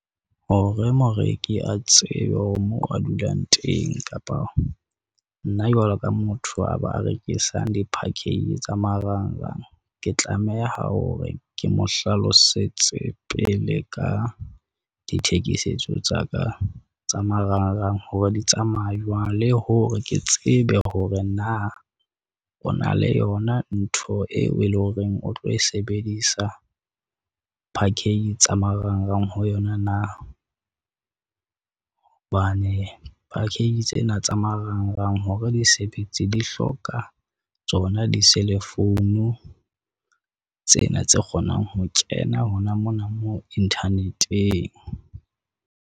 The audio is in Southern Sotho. Hore moreki a tsebe hore moo a dulang teng kapa nna jwalo ka motho a ba rekisang di-package tsa marangrang. Ke tlameha hore ke mo hlalosetse pele ka dithekisetso tsa ka tsa marangrang hore di tsamaya jwang. Le hore ke tsebe hore na o na le yona ntho eo e leng horeng o tlo e sebedisa package tsa marangrang ho yona na? Hobane package tsena tsa marangrang hore disebetse di hloka tsona di-cell-phone tsena tse kgonang ho kena hona mona moo internet-eng.